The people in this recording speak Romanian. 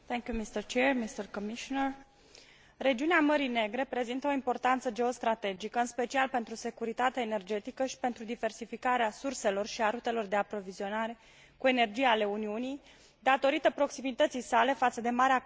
Regiunea Mării Negre prezintă o importanță geostrategică, în special pentru securitatea energetică și pentru diversificarea surselor și a rutelor de aprovizionare cu energie ale Uniunii, datorită proximității sale față de Marea Caspică, Orientul Mijlociu și Asia Centrală.